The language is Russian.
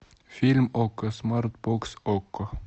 фильм окко смарт бокс окко